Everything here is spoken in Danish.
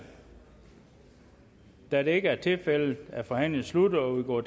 da det ikke er tilfældet er forhandlingen sluttet og vi går